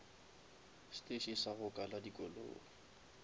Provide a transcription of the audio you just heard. steše sa go kala dikoloi